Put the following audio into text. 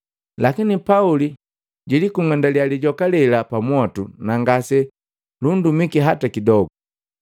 Lakini Pauli ja kung'undiya lijoka lela pamwotu na ngase lundumiki hata kidogu.